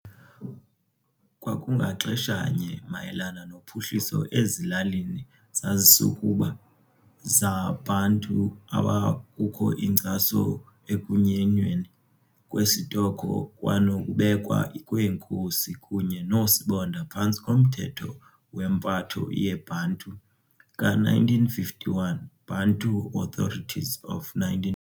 Kwangaxeshanye mayelana nophuhliso ezilalini zazisukuba zaBantu abakukho inkcaso ekunyenyweni kwesitoko kwanokubekwa kweenkosi kunye noosibonda phantsi komthetho wempatho yeBantu ka-1951, Bantu Authorities of 19.